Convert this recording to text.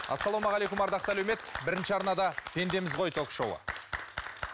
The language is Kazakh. ассалаумағалейкум ардақты әлеумет бірінші арнада пендеміз ғой ток шоуы